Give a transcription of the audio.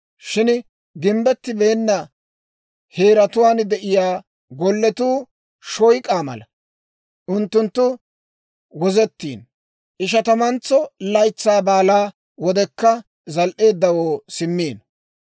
Shin gimbbettibeenna heeratuwaan de'iyaa golletuu shoyk'aa mala. Unttunttu wozettiino; Ishatamantso Laytsaa Baalaa wodekka zal"eeddawoo simmiino.